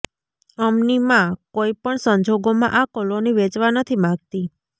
અમની માં કોઇ પણ સંજોગોમાં આ કોલોની વેચવા નથી માંગતી